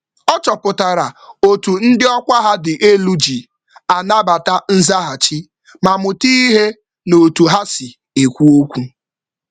Ọ chọpụtara otú ndị ọkwa ha dị elu ji anabata nzaghachi, ma mụta ìhè n'otu ha si ekwu okwu